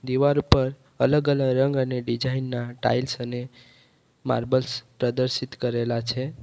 દીવાર ઉપર પર અલગ અલગ રંગ અને ડિઝાઇન ના ટાઇલ્સ અને માર્બલ્સ પ્રદર્શિત કરેલા છે.